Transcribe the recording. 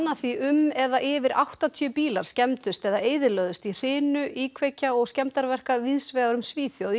því um eða yfir áttatíu bílar skemmdust eða eyðilögðust í hrinu íkveikja og skemmdarverka víðsvegar um Svíþjóð í